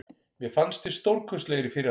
Mér fannst við stórkostlegir í fyrri hálfleik.